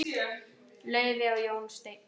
Laufey og Jón Steinn.